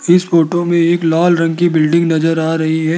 इस फोटो में एक लाल रंग की बिल्डिंग नजर आ रही है।